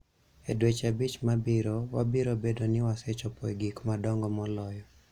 E dweche abich mabiro, wabiro bedo ni wasechopo e gik madongo moloyo.